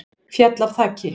Féll af þaki